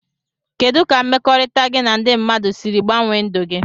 Kedụ ka mmekọrita gi na ndi mmadụ siri gbanwe ndụ gi.